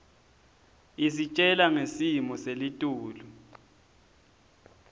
isitjela ngesimo selitulu